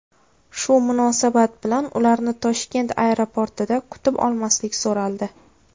Shu munosabat bilan ularni Toshkent aeroportida kutib olmaslik so‘raldi.